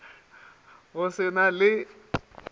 go se sa na le